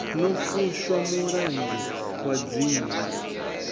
no fushwa mulangi wa dzingu